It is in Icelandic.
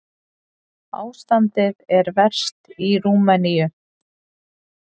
Ástandið er verst í Rúmeníu.